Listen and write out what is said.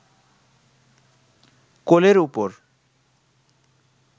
কোলের ওপর